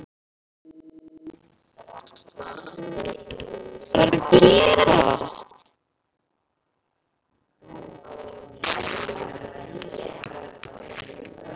Þeir sem héldu létu hann lausan.